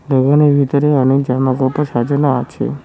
দোকানের ভিতরে অনেক জামাকাপড় সাজানো আছে।